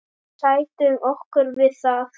Við sættum okkur við það.